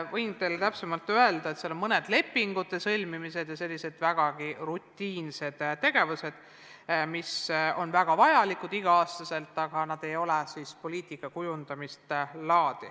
Võin teile täpsustuseks öelda, et on mõned lepingute sõlmimised ja muud sellised rutiinsed tegevused, mis on igal aastal väga vajalikud, aga need ei ole poliitikat kujundavad.